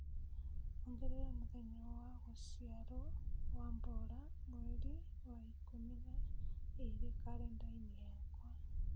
Ongerera mũthenya wa gũciarũo wa bola mweri wa ikũmi na ĩĩrĩ karenda-inĩ yakwa.